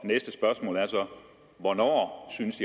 og næste spørgsmål er så hvornår synes